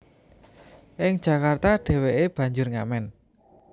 Ing Jakarta dheweke banjur ngamen